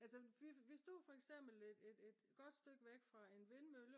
altså vi stod for eksempel et godt stykke væk fra en vindmølle